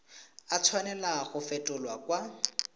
a tshwanela go fetolwa kwa